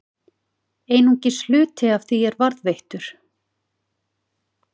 Einungis hluti af því er varðveittur.